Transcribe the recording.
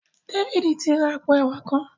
David tí rá àpò ẹwà kán.